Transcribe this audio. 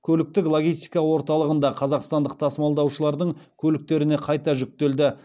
көліктік логистика орталығында қазақстандық тасымалдаушылардың көліктеріне қайта жүктелді